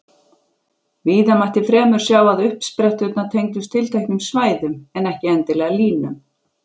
Víða mætti fremur sjá að uppspretturnar tengdust tilteknum svæðum, en ekki endilega línum.